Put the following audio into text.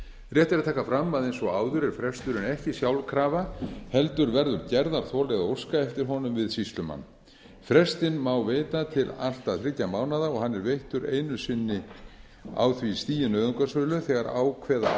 rétt er að taka fram að eins og áður er fresturinn ekki sjálfkrafa heldur verður gerðarþoli að óska eftir honum við sýslumann frestinn má veita til allt að þriggja mánaða og hann er veittur einu sinni á því stigi nauðungarsölu þegar ákveða